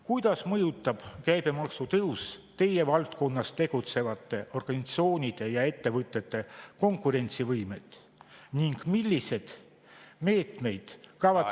Kuidas mõjutab käibemaksu tõus teie valdkonnas tegutsevate organisatsioonide ja ettevõtete konkurentsivõimet ning milliseid meetmeid kavatsete …